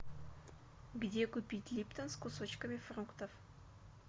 где купить липтон с кусочками фруктов